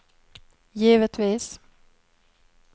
givetvis